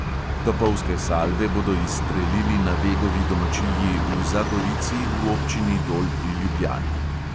Topovske salve bodo izstrelili na vegovi domačiji v zagorici v občini dol pri ljubljani.